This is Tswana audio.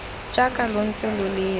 jaaka lo ntse lo lela